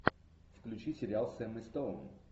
включи сериал с эммой стоун